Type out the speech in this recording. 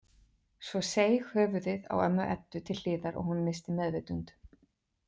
Svo seig höfuðið á ömmu Eddu til hliðar og hún missti meðvitund.